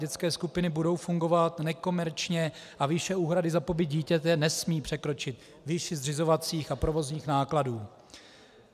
Dětské skupiny budou fungovat nekomerčně a výše úhrady za pobyt dítěte nesmí překročit výši zřizovacích a provozních nákladů.